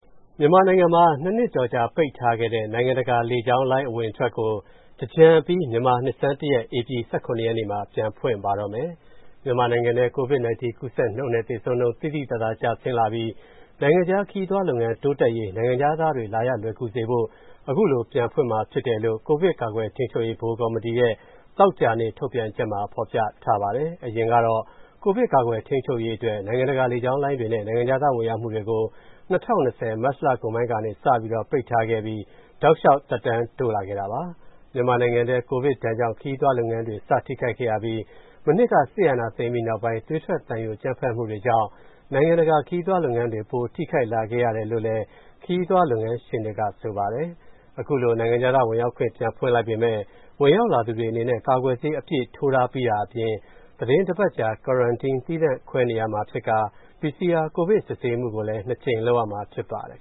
မြန်မာနိုင်ငံမှာ ၂ နှစ်ကျော်ကြာ ပိတ်ထားတဲ့ နိုင်ငံတကာ လေကြောင်းလိုင်း အဝင်အထွက်ကို သင်္ကြန်အပြီး မြန်မာနှစ်ဆန်း၁ ရက် ဧပြီ ၁၇ ရက်နေ့မှာ ပြန်ဖွင့်ပါတော့မယ်။ မြန်မာနိုင်ငံထဲ COVID-19 ကူးစက်နှုန်းနဲ့ သေဆုံးနှုန်း သိသိသာသာ ကျဆင်းလာပြီး နိုင်ငံခြား ခရီးသွားလုပ်ငန်း တိုးတက်ရေး နိုင်ငံခြားသားတွေ လာရလွယ်ကူစေဖို့ အခုလို ပြန်ဖွင့်မှာဖြစ်တယ်လို့ ကိုဗစ်ကာကွယ်ထိန်းချုပ်ရေး ဗဟိုကော်မတီရဲ့ သောကြာနေ့ ထုတ်ပြန်ချက်မှာ ဖော်ပြထားပါတယ်။ အရင်ကတော့ ကိုဗစ်ကာကွယ်ထိန်းချုပ်ရေးအတွက် နိုင်ငံတကာ လေကြောင်းလိုင်းတွေနဲ့ နိုင်ငံခြားသား ဝင်ရောက်မှုတွေကို ၂၀၂၀ မတ်လကုန်ပိုင်းကနေ စပြီးတော့ ပိတ်ထားခဲ့ပြီး တောက်လျှောက် သက်တမ်းတိုးလာခဲ့တာပါ။ မြန်မာနိုင်ငံထဲ ကိုဗစ်ဒဏ်ကြောင့် ခရီးသွားလုပ်ငန်းတွေ စထိခိုက်ခဲ့ရပြီး မနှစ်က စစ်အာဏာသိမ်းနောက်ပိုင်း သွေးထွက်သံယို အကြမ်းဖက်မှုတွေကြောင့် နိုင်ငံတကာ ခရီးသွားလုပ်ငန်းတွေ ပိုထိခိုက်လာခဲ့ရတယ်လို့ ခရီးသွားလုပ်ငန်းရှင်တွေက ဆိုပါတယ်။ အခုလို နိုင်ငံခြားသားဝင်ရောက်ခွင့် ပြန်ဖွင့်လိုက်ပေမယ့် ဝင်ရောက်လာသူတွေအနေနဲ့ ကာကွယ်ဆေး အပြည့်ထိုးတာပြီးတာအပြင် သီတင်းတပတ်ကြာ Quarantine သီးသန့်ခွဲနေရမှာဖြစ်ကာ PCR ကိုဗစ်စစ်ဆေးမှု နှစ်ကြိမ်လုပ်ရမှာ ဖြစ်ပါတယ်